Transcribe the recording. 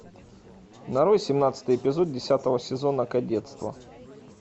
нарой семнадцатый эпизод десятого сезона кадетство